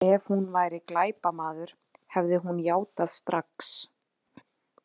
Ef hún væri glæpamaður, hefði hún játað strax.